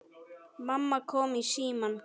Mamma kom í símann.